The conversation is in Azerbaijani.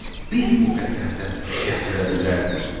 Bir bu qədər də gətirə bilərdik.